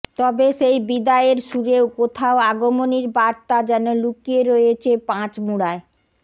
তবে সেই বিদায়ের সুরেও কোথাও আগমনীর বার্তা যেন লুকিয়ে রয়েছে পাঁচমুড়ায়